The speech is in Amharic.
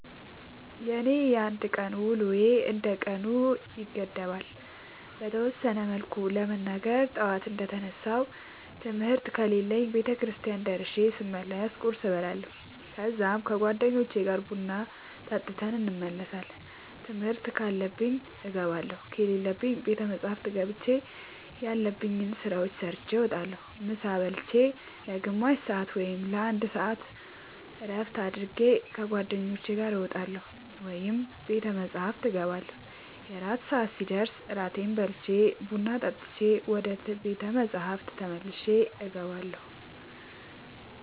የኔ የአንድ ቀን ውሎዬ እንደ ቀኑ ይገደባል። በተወሰነ መልኩ ለመናገር ጠዋት እንደ ተነሳሁ ትምህርት ከሌለብኝ ቤተክርስቲያን ደርሼ ስመለስ ቁርስ እበላለሁ ከዛ ከ ጓደኞቼ ጋር ቡና ጠጥተን እንመለሳለን ትምህርት ካለብኝ እገባለሁ ከሌለብኝ ቤተ መፅሐፍ ገብቼ ያለብኝን ስራ ሰርቼ እወጣለሁ። ምሳ ብልቼ ለ ግማሽ ሰአት ወይም ለ አንድ ሰአት እረፍት አድርጌ ከ ጓደኞቼ ጋር እወጣለሁ ወይም ቤተ መፅሐፍ እገባለሁ። የእራት ሰአት ሲደርስ እራቴን በልቼ ቡና ጠጥቼ ወደ ቤተ መፅሐፍ ተመልሼ እገባለሁ።